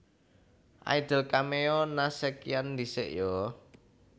Idol cameo Nha sekian ndisik yo